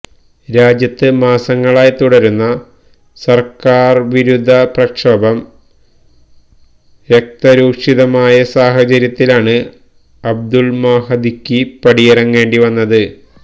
രാജ്യത്ത് മാസങ്ങളായി തുടരുന്ന സര്ക്കാര്വിരുദ്ധ പ്രക്ഷോഭം രകതരൂഷിതമായ സാഹചര്യത്തിലാണ് അബദുല് മഹദിക്ക് പടിയിറങ്ങേണ്ടി വന്നത്